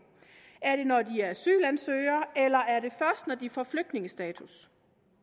er det når de er asylansøgere eller er det først når de får flygtningestatus